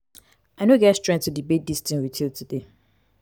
i no get strength to debate dis thing with you you today.